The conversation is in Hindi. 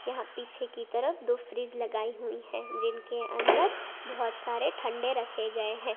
यहां पीछे की तरफ दो फ्रिज लगाई हुई है जिनके अंदर बहोत सारे ठंडा रखे गए हैं।